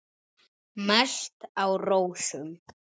Mest á rósum.